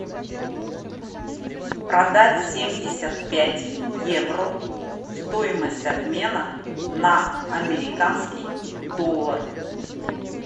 продать семьдесят пять евро стоимость обмена на американский доллар